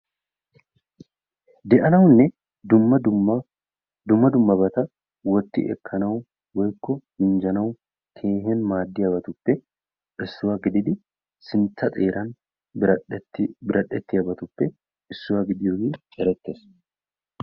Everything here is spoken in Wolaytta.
Deanawunne dumm dumma dumma dummabata wotti ekkanawu woykko minjjanawu tiiyin maadiyabatuppe issuwaa gididi sintta xeeran biradhdheti biradhdhetiyagetuppe issuwaa gidiyoge erettees.